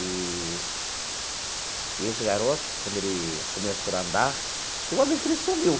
Eee esse garoto, quando ele começou a andar, teve uma vez que ele sumiu.